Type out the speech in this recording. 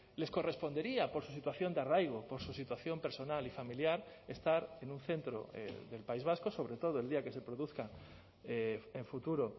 les correspondería por su situación de arraigo por su situación personal y familiar estar en un centro del país vasco sobre todo el día que se produzca en futuro